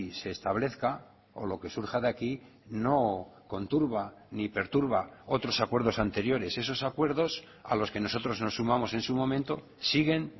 se establezca o lo que surja de aquí no conturba ni perturba otros acuerdos anteriores esos acuerdos a los que nosotros nos sumamos en su momento siguen